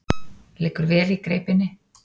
Liggur vel í greipinni.